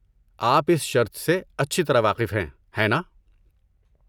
آپ اس شرط سے اچھی طرح واقف ہیں، ہیں ناں؟